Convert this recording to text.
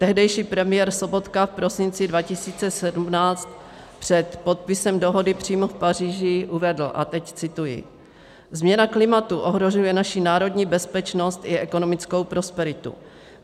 Tehdejší premiér Sobotka v prosinci 2017 před podpisem dohody přímo v Paříži uvedl - a teď cituji: Změna klimatu ohrožuje naši národní bezpečnost i ekonomickou prosperitu.